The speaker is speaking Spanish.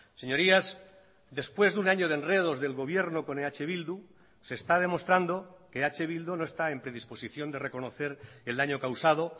señorías después de un año de enredos del gobierno con eh bildu se está demostrando que eh bildu no está en predisposición de reconocer el daño causado